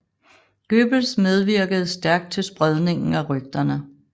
Goebbels medvirkede stærkt til spredningen af rygterne